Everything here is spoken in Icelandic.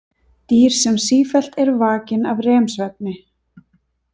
Dýr sem sífellt eru vakin af REM-svefni.